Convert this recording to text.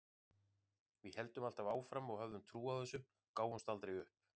Við héldum alltaf áfram og höfðum trú á þessu, gáfumst aldrei upp.